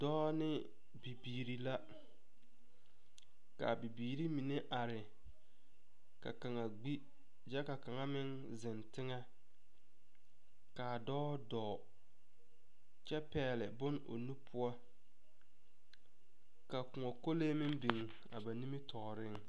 Dɔɔ ne bibiir la. Kaa bibiiri mine are. Ka kaŋa gbi kyɛ ka kaŋa meŋ zeŋ teŋɛ. Ka dɔɔ dɔɔŋ kyɛ pɛgle bon o nu poɔ. Ka Kõɔ kolee meŋ biŋ a ba nimitɔɔreŋ.